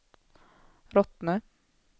Rottne